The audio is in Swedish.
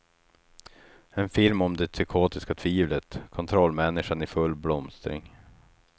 En film om det psykotiska tvivlet, kontrollmänniskan i full blomstring.